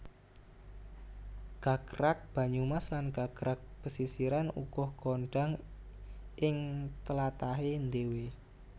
Gagrag Banyumas lan Gagrag Pesisiran uga kondhang ing tlatahé dhéwé